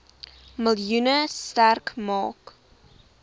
miljoen sterk maak